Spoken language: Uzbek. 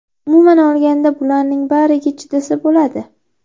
Umuman olganda bularning bariga chidasa bo‘ladi.